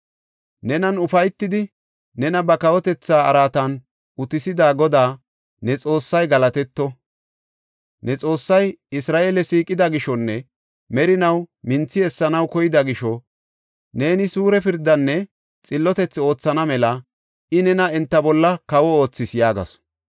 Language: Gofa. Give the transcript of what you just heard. Nenan ufaytidi, nena ba kawotetha araatan utisida Goday ne Xoossay galatetto! Ne Xoossay Isra7eele siiqida gishonne merinaw minthi essanaw koyida gisho neeni suure pirdaanne xillotethaa oothana mela I nena enta bolla kawo oothis” yaagasu.